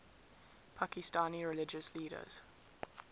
pakistani religious leaders